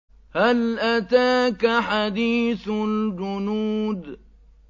هَلْ أَتَاكَ حَدِيثُ الْجُنُودِ